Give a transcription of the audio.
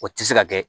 O tɛ se ka kɛ